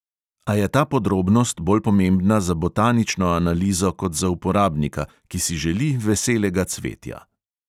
A je ta podrobnost bolj pomembna za botanično analizo kot za uporabnika, ki si želi veselega cvetja.